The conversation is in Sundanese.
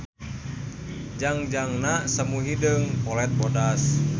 Jangjangna semu hideung polet bodas.